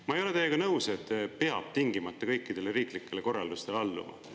Ma ei ole teiega nõus, et peab tingimata kõikidele riiklikele korraldustele alluma.